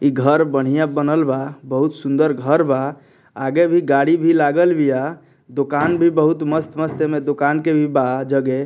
घर बढ़ियां बनल बा बहुत सूंदर घर बा आगे भी गाड़ी भी लागल बीया दुकान भी बहुत मस्त-मस्त एमे दुकान के भी बा जगे।